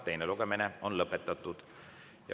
Teine lugemine on lõpetatud.